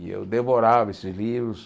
E eu devorava esses livros.